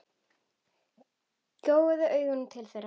Gjóaði augunum til þeirra.